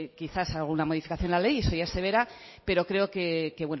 quizás alguna modificación de la ley eso ya se verá pero creo que